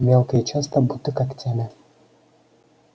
мелко и часто будто когтями